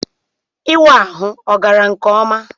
Ịwa ahụ ọ gara nke ọma?